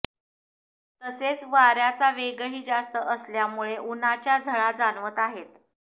तसेच वाऱ्याचा वेगही जास्त असल्यामुळे उन्हाच्या झळा जाणवत आहेत